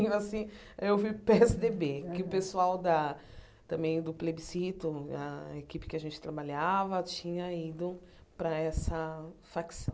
Assim eu fui para o Pê éSse Dê Bê, que o pessoal da também do plebiscito, a equipe que a gente trabalhava, tinha ido para essa facção.